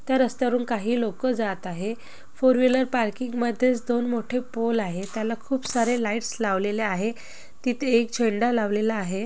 त्या रस्त्यावरून काही लोक जात आहे. फोर व्हीलर पार्किंग मध्येच दोन मोठे पोल आहे. त्याला खूप सारे लाइट्स लावलेल्या आहे. तिथे एक झेंडा लावलेला आहे.